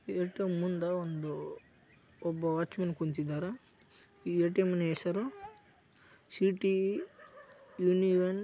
ATM ಮುಂದ ಒಬ್ಬ watchman ಕುಳಿತಾದನೆ ಈ ಎ.ಟಿ.ಎಂ ಹೆಸರು ಸಿಟಿ ಯೂನಿಯನ್ --